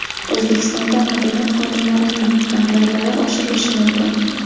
O‘zbekistonda madaniyat xodimlarining gonorarlari oshirilishi mumkin.